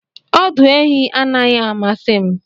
Ọdụ ehi anaghị amasị m